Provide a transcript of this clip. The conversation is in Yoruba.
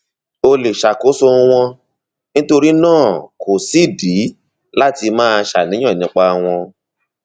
o lè ṣàkóso wọn nítorí náà kò sídìí láti máa ṣàníyàn nípa wọn